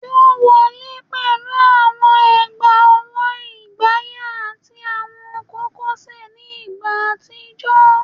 Wọn wọle pẹlu awọn egbaowo ifaya ati awọn kokosẹ ni igba atijọ